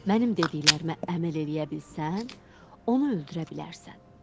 Mənim dediklərimə əməl eləyə bilsən, onu öldürə bilərsən.